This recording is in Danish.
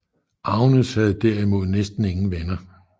Agnes har derimod næsten ingen venner